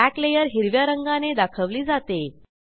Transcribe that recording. back layer हिरव्या रंगाने दाखवली जाते